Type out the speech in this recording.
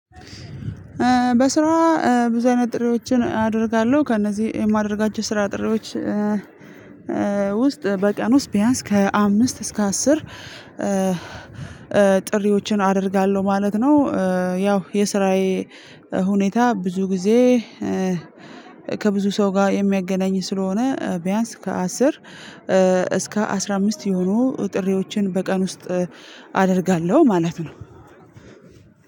በስራ ብዙ አይነት ጥሪዎችን አደርጋለሁ ከእነዚህ የማደርጋቸው ስራ ጥሪዎች ውስጥ በቀን ውስጥ ቢያንስ ከአምስት እስከ አስር ጥሪዎችን አደርጋለሁ ማለት ነው። ያው የስራዬ ሁኔታ ብዙ ጊዜ ከብዙ ሰው ጋር የሚያገናኝ ስለሆነ ቢያንስ ከአስር እስከ አስራ አምስት የሆኑ ጥሪዎችን በቀን ውስጥ አደርጋለሁ ማለት ነው።